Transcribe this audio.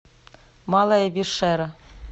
малая вишера